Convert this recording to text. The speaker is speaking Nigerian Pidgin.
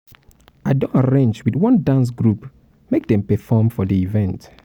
i don arrange wit one dance group make dem perform for di event.